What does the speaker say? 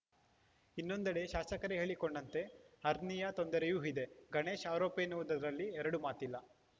ಇನ್ನೊಂದೆಡೆ ಶಾಸಕರೇ ಹೇಳಿಕೊಂಡಂತೆ ಹರ್ನಿಯಾ ತೊಂದರೆಯೂ ಇದೆ ಗಣೇಶ್‌ ಆರೋಪಿ ಎನ್ನುವುದರಲ್ಲಿ ಎರಡು ಮಾತಿಲ್ಲ